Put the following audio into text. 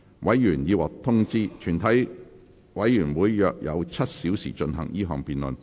委員已獲通知，全體委員會約有7小時進行這項辯論。